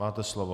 Máte slovo.